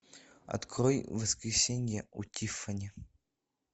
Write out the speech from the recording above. открой воскресенье у тиффани